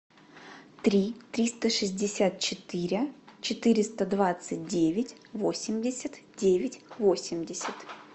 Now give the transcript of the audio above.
три триста шестьдесят четыре четыреста двадцать девять восемьдесят девять восемьдесят